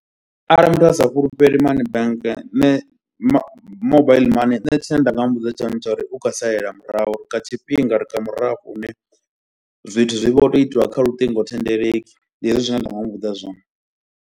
Arali muthu a sa fhulufhele money bank nṋe mo mobile money, nṋe tshine nda nga muvhudza tshone ndi tsho uri u khou salela murahu kha tshifhinga ri une zwithu zwi vho tou itiwa kha luṱingothendeleki, ndi hezwi zwine nda nga muvhudza zwone.